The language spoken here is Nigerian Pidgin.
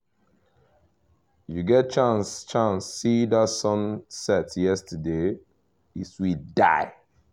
you get chance chance see that sunset yesterday? e sweet die!